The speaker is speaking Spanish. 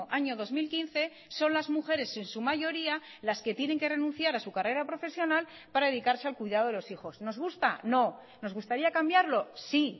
año dos mil quince son las mujeres en su mayoría las que tienen que renunciar a su carrera profesional para dedicarse al cuidado de los hijos nos gusta no nos gustaría cambiarlo sí